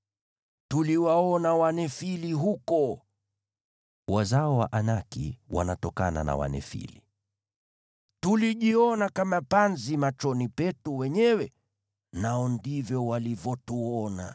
Tuliwaona Wanefili huko (wazao wa Anaki wanatokana na Wanefili.) Tulijiona kama panzi machoni petu wenyewe, nao ndivyo walivyotuona.”